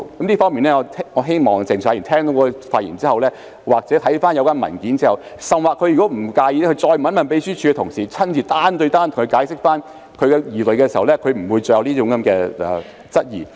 就此，我希望鄭松泰議員聽畢我的發言後，又或看過有關文件後，甚至他不介意的話，可以再問秘書處的同事，由他們親自單對單向他解釋，這樣他便不會再有這種質疑。